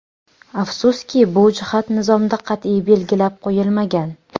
Afsuski, bu jihat nizomda qat’iy belgilab qo‘yilmagan.